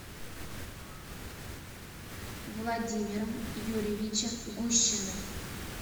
владимиром юрьевичем гущиным